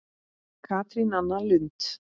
Katrín Anna Lund.